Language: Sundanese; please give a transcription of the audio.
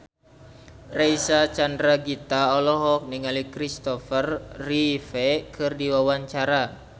Reysa Chandragitta olohok ningali Kristopher Reeve keur diwawancara